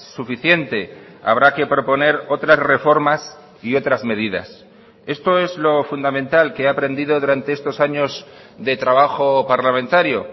suficiente habrá que proponer otras reformas y otras medidas esto es lo fundamental que he aprendido durante estos años de trabajo parlamentario